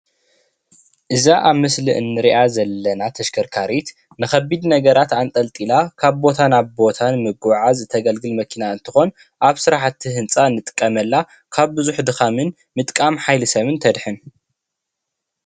እዚ ምስሊ ን ሪኣ ዘለና ተሽከርካሪት ንከቢድ ነገራት አንጠልጣላ ካብ ቦታ ናብ ቦታ ንምጉዕዓዝ ተገልግል መኪና እንትኾን አብ ስራሕቲ ህንፃ ንጥቀመላ ካብ ብዙሕ ድኻምን ምጥቃም ሓይሊ ሰብ ን ተድሕን።